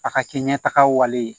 A ka kɛ ɲɛtagaw ye